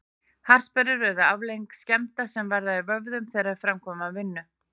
Harðsperrur eru afleiðing skemmda sem verða í vöðvum þegar þeir framkvæma vinnu.